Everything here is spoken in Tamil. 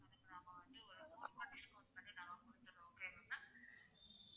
அதுக்கு நாங்க வந்து ஒரு நூறு ரூபாய் discount பண்ணி தர்றோம் okay வா ma'am